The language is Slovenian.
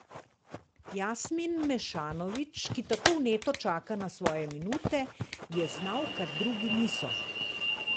Jasmin Mešanović, ki tako vneto čaka na svoje minute, je znal, kar drugi niso.